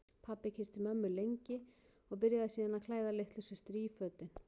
Pabbi kyssti mömmu lengi og byrjaði síðan að klæða litlu systur í fötin.